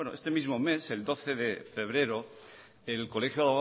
este mismo mes el doce de febrero el colegio